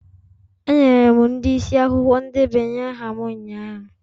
Enyere m ndị isi akwụkwọ ndebanye aha m ụnyahụ.